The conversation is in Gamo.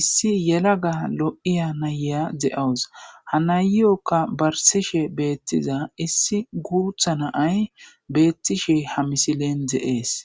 issi yela ga lo7iya naya de7awus hanayyokka barsishe beettiza issi guutha naay beettishe ha misilen deees